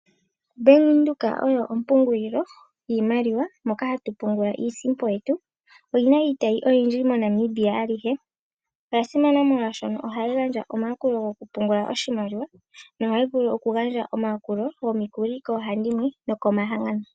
Bank Windhoek oyo ompungulilo yiimaliwa moka hatu pungula iisimpo yetu. Oyi na iitayi oyindji moNamibia alihe. Oya simana molwashoka ohayi gandja omayakulo gokupungula oshimaliwa nohayi vulu okugandja omayakulo gomikuli koohandimwe nokomahangano.